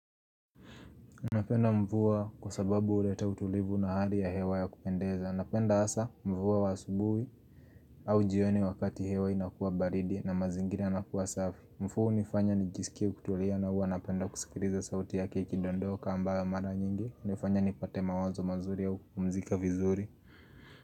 Napenda mvua kwa sababu huleta utulivu na hali ya hewa ya kupendeza. Napenda hasa mvua wa asubuhi au jioni wakati hewa inakua baridi na mazingira yanakua safi. Mvua hunifanya nijisikie kutulia na hua napenda kusikiliza sauti yake iki dondoka ambayo mara nyingi hunifanya nipate mawazo mazuri au kupumzika vizuri.